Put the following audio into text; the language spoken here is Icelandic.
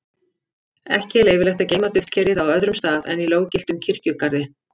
Ekki er leyfilegt að geyma duftkerið á öðrum stað en í löggiltum kirkjugarði.